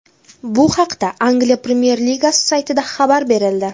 Bu haqda Angliya premyer ligasi saytida xabar berildi .